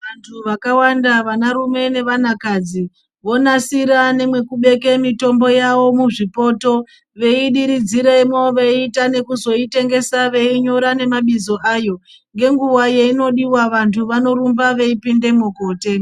Vantu vakawanda vana rume nevana kadzi vonasira nemekubeka mutombo wavo muzvipoto veidiridziramo veita nekuzoitengesa veinyora nemabizo ayo ngenguwa yainodiwa antu Vanirumba veipindamo kundotenga.